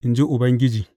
in ji Ubangiji.